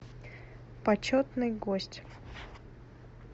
почетный гость